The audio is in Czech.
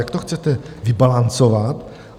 Jak to chcete vybalancovat?